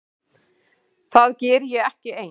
Það geri ég ekki ein.